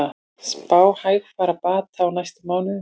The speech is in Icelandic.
Spá hægfara bata á næstu mánuðum